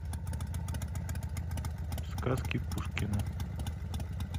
сказки пушкина